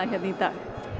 í dag